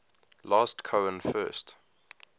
last cohen first